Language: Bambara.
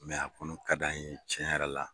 Mɛ a kɔni ka di an ye tiɲɛn yɛrɔ la.